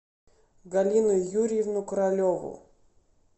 галину юрьевну королеву